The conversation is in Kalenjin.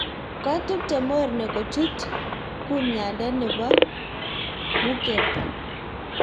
koatubte morne kochut kumyande ne bo mukebw